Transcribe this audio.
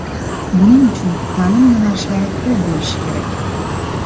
Buning uchun ta’lim yo‘nalishlari ko‘p bo‘lishi kerak.